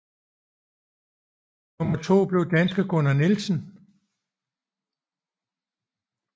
Nummer to blev danske Gunnar Nielsen